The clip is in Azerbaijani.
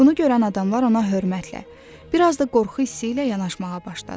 Bunu görən adamlar ona hörmətlə, bir az da qorxu hissi ilə yanaşmağa başladılar.